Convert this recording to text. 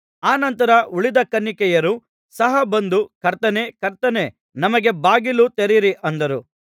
ಅನಂತರ ಉಳಿದ ಕನ್ನಿಕೆಯರು ಸಹ ಬಂದು ಕರ್ತನೇ ಕರ್ತನೇ ನಮಗೆ ಬಾಗಿಲು ತೆರೆಯಿರಿ ಅಂದರು